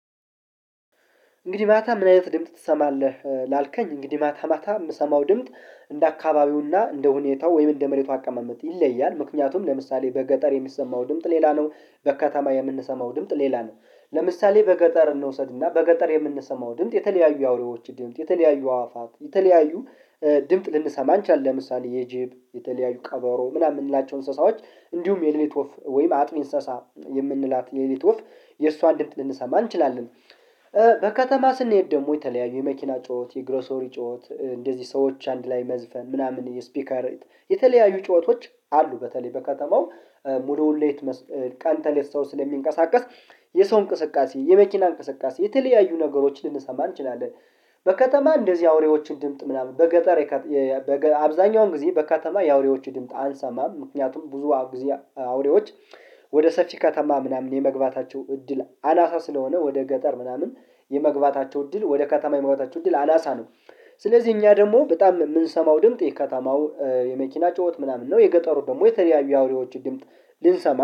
እንግዲህ ማታ ምን አይነት ድምጽ ትሰማለህ? ላልከኝ እንግዲህ ማታ ማታ የምሰማው ድምጽ እንደ አካባቢውና እንደ ሁኔታው ወይም እንደ መሬቱ አቀማመጥ ይለያል። ምክንያቱም ለምሳሌ በገጠር የሚሰማው ድምጽ ሌላ ነው። በከተማ የምንሰማው ድምጽ ሌላ ነው። ለምሳሌ በገጠር እንውሰድና በገጠር የምንሰማው ድምጽ የተለያዩ አውሬዎች ድምጽ የተለያዩ አዋፋት የተለያዩ ድምጽ ልንሰማ ልንሰማ እንችላለን። ለምሳሌ የጅብ የተለያዩ ቀበሮ ምናምን የምንላቸው እንስሳዎች እንዲሁም የሌሊት ወፍ ወይም አጥቢ እንስሳ የምንላት የሌት ወፍ የእሷን ድብጽ ልንሰማ እንችላለን። በከተማ ስንሄድ ደግሞ የተለያዩ የመኪና ጩኸት የግሮሶሪ ጩኸት እንደዚህ ሰዎች አንድ ላይ መዝፈን ምናምን የስፒከር የተለያዩ ጩኸቶች አሉ። በተለይ በከተማው ሙሉውን ሌት ቀን ተሌት ሰው ስለሚንቀሳቀስ የሰው እንቅስቃሴ የመኪና እንቅስቃሴ የተለያዩ ነገሮችን ልንሰማ እንችላለን ድምጥ ልንሰማ ልንሰማን እንችላለን። ለምሳሌ የጅብ የተለያዩ ቀበሮ ምናምን ምንላቸው እንስሳዎች እንዲሁም የሌሊት ወፍ ወይም አጥቢ እንስሳ የምንላት የሌት ወፍ የእሷን ድምጽ ልንሰማ እንችላለን። አብዛኛውን ጊዜ በከተማ የአውሬዎች ድምጽ አንሰማም ምክንያቱም ብዙ አብዛ አውሬዎች ወደ ሰፊ ከተማ ምናምን የመግባታቸው እድል አናሳ ስለሆነ ወደ ገጠር ምናምን የመግባታቸው እድል ወደ ከተማ የመግባታቸው እድል አናሳ ነው። ስለዚህ እኛ ደሞ በጣም ምንሰማው ድምጥ የከተማው የመኪና ጩዎት ምናምን ነው የገጠሩ ደሞ የተለያዩ አውሬዎች ድምጽ ልንሰማ